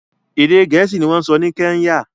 Èdè Gẹ̀ẹ́sì ni wọ́n ń sọ ní Kenya